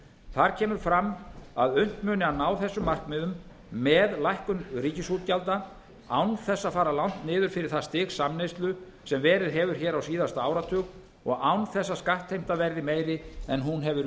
þar kemur fram að unnt muni að ná þessum markmiðum með lækkun ríkisútgjalda án þess að fara langt niður fyrir það stig samneyslu sem verið hefur hér á síðasta áratug og án þess að skattheimta verði meiri en hún hefur